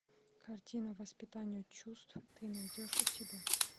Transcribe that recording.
картина воспитание чувств ты найдешь у себя